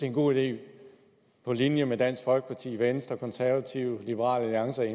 en god idé på linje med dansk folkeparti venstre konservative liberal alliance